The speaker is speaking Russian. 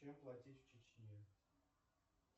чем платить в чечне